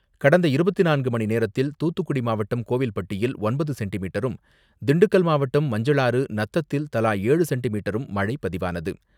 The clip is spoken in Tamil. கடந்த இருபத்தி நான்கு மணிநேரத்தில் தூத்துக்குடி மாவட்டம், கோவில்பட்டியில் ஒன்பது சென்டிமீட்டரும், திண்டுக்கல் மாவட்டம் மஞ்சளாறு, நத்தத்தில் தலா ஏழு சென்டிமீட்டரும் மழை பதிவானது.